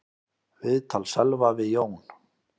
Viðtal Sölva við Jón